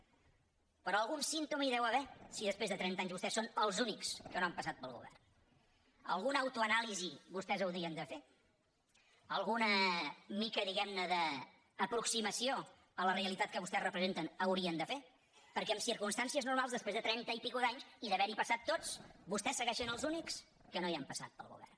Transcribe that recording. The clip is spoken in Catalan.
però algun símptoma hi deu haver si després de trenta anys vostès són els únics que no han passat pel govern alguna autoanàlisi vostès haurien de fer alguna mica diguem ne d’aproximació a la realitat que vostès representen haurien de fer perquè en circumstàncies normals després de trenta anys i escaig d’haver hi passat tots vostès segueixen sent els únics que no hi han passat pel govern